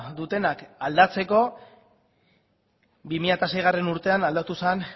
dutenak aldatzeko bi mila seigarrena urtean aldatu zen